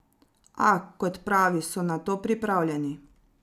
A, kot pravi, so na to pripravljeni.